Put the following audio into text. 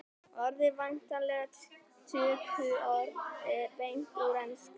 orðið er væntanlega tökuorð beint úr ensku